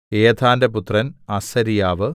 ഏഥാന്റെ പുത്രൻ അസര്യാവ്